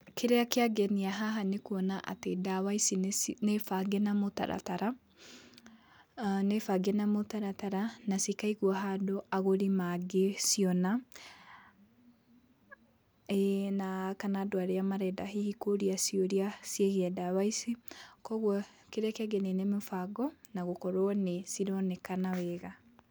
Kĩrĩa kĩangenia haha nĩ kuona atĩ ndawa ici nĩ bange na mũtaratara, nĩ bange na mũtaratara na cikaigwo handũ agũri mangĩciona, ĩĩ, na kana andũ arĩa marenda hihi kũria ciũria ciĩgiĩ ndawa ici, koguo kĩrĩa kĩangenia nĩ mũbango na gũkorwo nĩ cironekana wega.